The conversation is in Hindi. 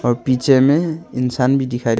और पिक्चर में इंसान भी दिखा--